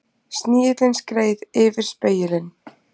Snigillinn skreið yfir spegilinn.